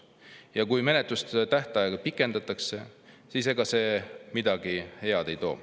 Ja kui menetlustähtaega pikendatakse, siis ega see midagi head ei too.